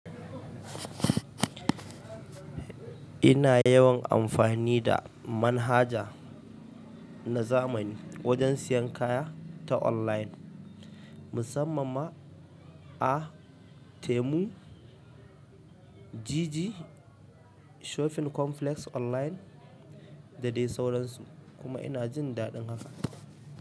Ina yawan amfani da manhaja na zamani wajen siyan kaya ta online mussamman ma a temu, jiji, shopping complex online da dai sauransu kuma ina jin daɗin haka.